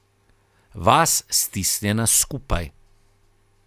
Vas, stisnjena skupaj.